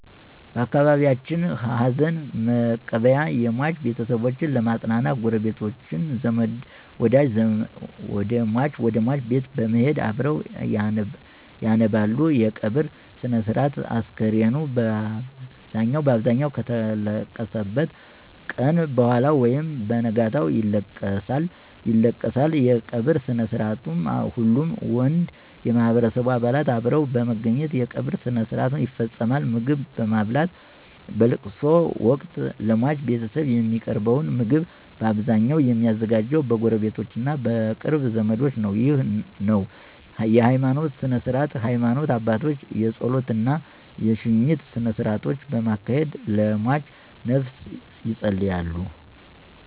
በአካባቢየችን ሀዘንመቀበያ የሟች ቤተሰቦች ለመጽናናት ጉረቤቶች፣ ዘመድወደጅ ወደሟች ቤት በመሄድ አብረዉ ያነባሉ _የቀብር ስነስርአት፣ አስከሬኑ ባብዛኘዉ ከተለቀሰበት ቀነ በኋላ ወይም በነጋታው ይለቀሳል ይለቀሳል_የቀበርስነስርአትሁሉም ወንድ የማህበረሰቡ አባላት አብረዉ በመገኘት የቀብር ስርአት ይፈጸማል _ምግብማብላት በለቅሶወቅት ለሟች ቤተሰብ የሚቀርበዉ ምግብ ባብዛኘዉ የሚዘጋጀዉ በጉረቤቶቾ እና በቅርብ ዘመዶች ነዉ ነዉ_የሀይማኖት ስነስርዓት የሀይማኖት አባቶች የጾለት እና የሽኝት ስነስርአቶችን በማካሄድ ለሟችነፍስ የጸልያሉ።